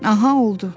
Aha, oldu.